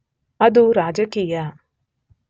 ಅದು ರಾಜಕೀಯ